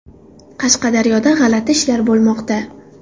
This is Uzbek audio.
Qashqadaryoda g‘alati ishlar bo‘lmoqda.